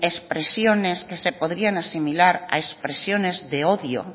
expresiones que se podrían asimilar a expresiones de odio